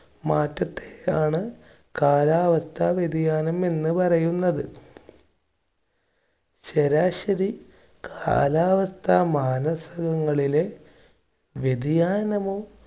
മാറ്റത്തെയാണ് കാലാവസ്ഥാ വ്യതിയാനം എന്ന് പറയുന്നത്. ശരാശരി കാലാവസ്ഥ മാനസകങ്ങളിലെ വ്യതിയാനമോ,